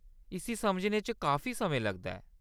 इस्सी समझने च काफी समें लगदा ऐ।